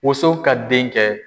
Wonso ka den kɛ.